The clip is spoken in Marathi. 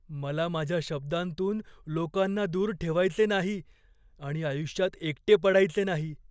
मला माझ्या शब्दांतून लोकांना दूर ठेवायचे नाही आणि आयुष्यात एकटे पडायचे नाही.